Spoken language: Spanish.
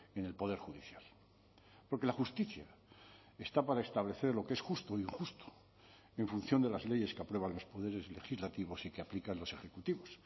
en el poder judicial porque la justicia está para establecer lo que es justo o injusto en función de las leyes que aprueban los poderes legislativos y que aplican los ejecutivos